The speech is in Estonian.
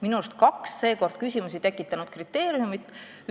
Minu arust oli seekord kaks küsimusi tekitanud kriteeriumit.